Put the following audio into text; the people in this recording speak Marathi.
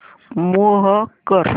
मूव्ह कर